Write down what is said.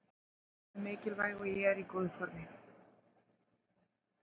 Heilsan er mikilvæg og ég er í góðu formi.